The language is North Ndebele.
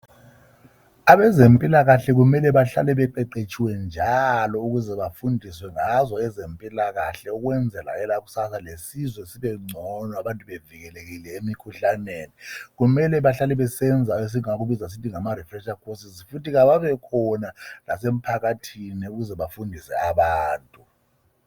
Abezempilakahle kumele bahlale beqeqetshile njalo ukuze bafundiswe ngazo ezempilakahle ukwenzela kwelakusasa lesizwe sibe ngcono bevikelekile lemikhuhlaneni. Kumele bahlale besenza esingakubiza sisithi ngama refreshercourses. Futhi kawabe khona lasemphakathini ukuze bafundiswe abantu.